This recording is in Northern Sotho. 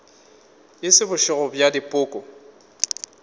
e se bošego bja dipoko